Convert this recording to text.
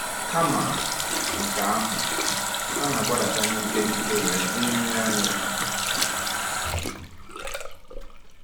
Kama nke ahụ, ha na-agbadata n’ike n’ike wee “dịrị anya.”